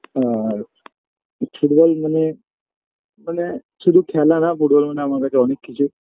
আর football মানে মানে শুধু খেলা না ফুটবল মানে আমার কাছে অনেক কিছু